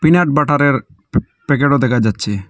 Peanut বাটারের প্যা-প্যাকেটও দেখা যাচ্ছে।